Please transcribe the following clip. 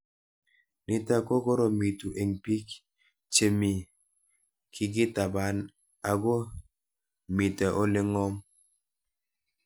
Nitok ko koromitu eng'pik chemii kiketapan, ako mito ole ng'om